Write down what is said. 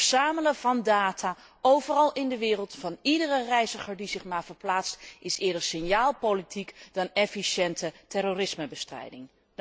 Het verzamelen van data overal in de wereld van iedere reiziger die zich maar verplaatst is eerder signaalpolitiek dan efficiënte terrorismebestrijding.